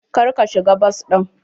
Kar ka shiga bas ɗin.